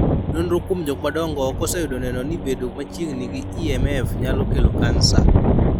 Nonro kuom jokmadongo ok oseyudo neno ni bedo machiegni gi EMF nyalo kelo kansa.